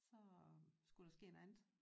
Så skulle der ske noget andet